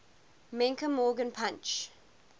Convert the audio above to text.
menke morgan punch